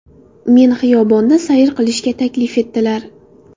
Meni xiyobonda sayr qilishga taklif etdilar.